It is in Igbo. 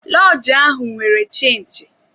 Lọọjị ahụ nwere chinchi.